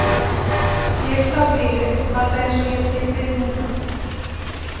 Ég sá bílinn, alveg eins og ég sé þig núna.